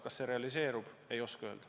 Kas see realiseerub, ei oska öelda.